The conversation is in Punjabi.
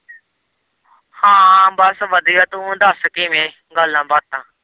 ਹਾਂ ਬਸ ਵਧੀਆ ਤੂੰ ਦੱਸ ਕਿਵੇਂ ਗੱਲਾਂ-ਬਾਤਾਂ।